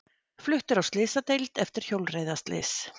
Fluttur á slysadeild eftir hjólreiðaslys